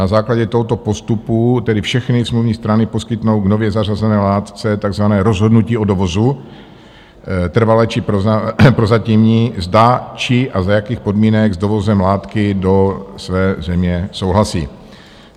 Na základě tohoto postupu tedy všechny smluvní strany poskytnou k nově zařazené látce takzvané rozhodnutí o dovozu, trvalé či prozatímní - zda, či a za jakých podmínek s dovozem látky do své země souhlasí.